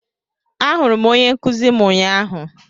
Ahụrụ m onye nkuzi m ụnyahụ